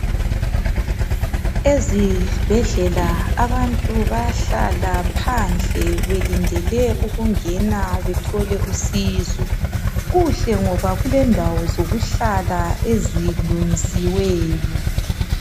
Ezibhedlela abantu bayahlala phandle belindele ukungena bethole usizo. Kuhle ngoba kulendawo zokuhlala ezilungisiweyo.